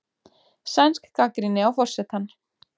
Sænsk gagnrýni á forsetann